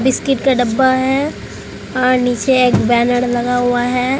Biscuit का डब्बा है और नीचे एक बैनर लगा हुआ है।